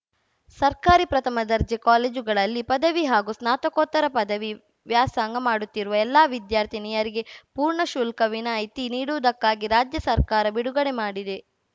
ಸರ್ಕಾರಿ ಪ್ರಥಮ ದರ್ಜೆ ಕಾಲೇಜುಗಳಲ್ಲಿ ಪದವಿ ಹಾಗೂ ಸ್ನಾತಕೋತ್ತರ ಪದವಿ ವ್ಯಾಸಂಗ ಮಾಡುತ್ತಿರುವ ಎಲ್ಲಾ ವಿದ್ಯಾರ್ಥಿನಿಯರಿಗೆ ಪೂರ್ಣ ಶುಲ್ಕ ವಿನಾಯಿತಿ ನೀಡುವುದಕ್ಕಾಗಿ ರಾಜ್ಯ ಸರ್ಕಾರ ಬಿಡುಗಡೆ ಮಾಡಿದೆ